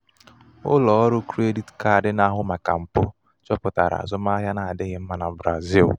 ụlọ ọrụ krediti kaadi na-ahụ màkà mpụ chọpụtara azụmahịa n'amaghị ama na brazil.